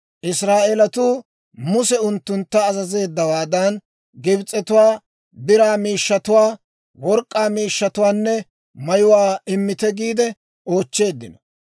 Israa'eeletuu Muse unttuntta azazeeddawaadan, Gibs'etuwaa biraa miishshatuwaa, work'k'aa miishshatuwaanne mayuwaa, «Immite» giide oochcheeddino.